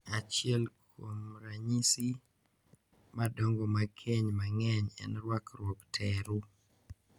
Achiel kuom ranyisi madongo mag keny mang'eny en rwakruok teru.